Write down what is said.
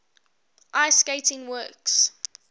ice skating works